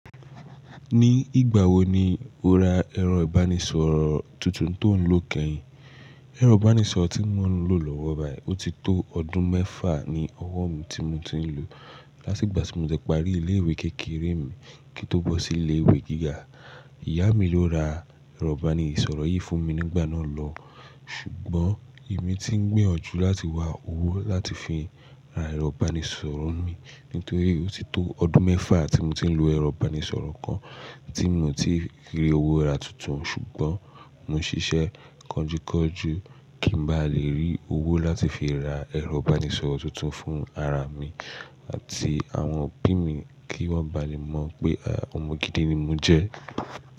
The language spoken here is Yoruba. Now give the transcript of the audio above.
Ní ìgbà wo ni o ra ẹ̀rọ ìbánisọ̀rọ̀ tuntun tó ń lò kẹ́yìn? Ẹ̀rọ ìbánisọ̀rọ̀ tí mo ń lò lọ́wọ́ báyìí, ó ti tó ọdún mẹ́fà ní ọwọ́ mi tí mo ti ń lò. Láti ìgbà tí mo ti parí ilé-ìwé kékeré mi kí n tó bọ́ sí ilé-ìwé gíga. Ìyá mi ló ra ẹ̀rọ ìbánisọ̀rọ̀ yìí fún mi nígbà náà lọ. Ṣùgbọ́n èmi ti ń gbìyànjú láti wá owó láti fi ra ẹ̀rọ ìbánisọ̀rọ̀ mi nítorí ó ti tó ọdún mẹ́fà tí mo ti ń lo ẹ̀rọ ìbánisọ̀rọ̀ kan tí mio ti rí owó ra tuntun. Ṣùgbọ́n mo ń ṣiṣẹ́ kọjúkọjú kí n bá lè rí owó láti fi ra ẹ̀rọ ìbánisọ̀rọ̀ tuntun fún ara mi àti àwọn òbí mi kí wọ́n bá lè mọ̀ pé ọmọ gidi ni mo jẹ́.